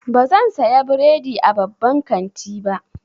Bazan saya bredi a babban kanti ba.